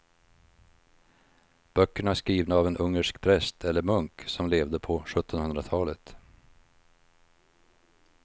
Böckerna är skrivna av en ungersk präst eller munk som levde på sjuttonhundratalet.